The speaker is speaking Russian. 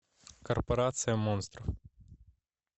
корпорация монстров